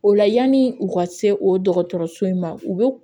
O la yanni u ka se o dɔgɔtɔrɔso in ma u bɛ